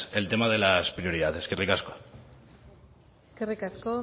el tema de las prioridades eskerrik asko eskerrik asko